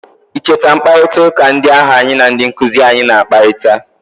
i cheta mkparịta ụka ndị ahụ anyi na ndị nkuzi anyị na-akparịta?